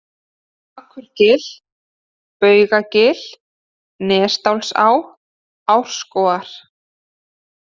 Akurgil, Baugagil, Nesdalsá, Árskógar